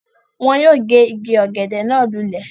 Wọ́n yóò gé igi ọ̀gẹ̀dẹ̀ náà lulẹ̀